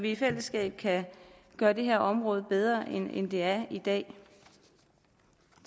i fællesskab kan gøre det her område bedre end det er i dag